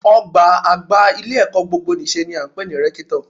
Ọ̀gbá àgbà ilé-ẹ̀kọ́ gbogbonìṣe ni à ń pè ní rẹ́kítọ̀